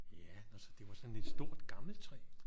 Ja nå så det var sådant et stort gammelt træ